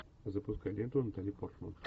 запускай ленту натали портман